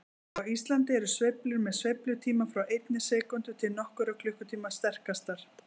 Á Íslandi eru sveiflur með sveiflutíma frá einni sekúndu til nokkurra klukkutíma sterkastar.